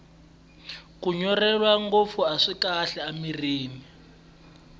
kunyunrwela ngopfu aswi kahle emirhini